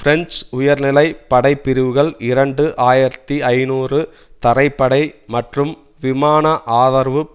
French உயர்நிலை படைப்பிரிவுகள் இரண்டு ஆயிரத்தி ஐநூறு தரைப்படை மற்றும் விமான ஆதரவு